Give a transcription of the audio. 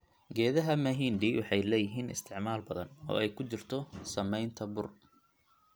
Geedaha mahindi waxay leeyihiin isticmaal badan, oo ay ku jirto samaynta bur.